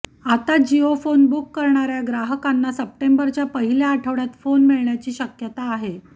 आत्ता Jio phone book करणाऱ्या ग्राहकांना सप्टेंबरच्या पहिल्या आठवड्यात फोन मिळण्याची शक्यता आहे